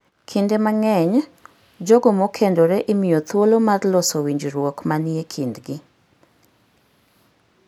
Kinde mang'eny, jogo mokendore imiyo thuolo mar loso winjruok manie kindgi.